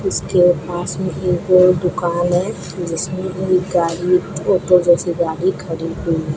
उसके पास में एक और दुकान है जिसमें एक गाड़ी फोटो जैसी गाड़ी खरीदी हुई--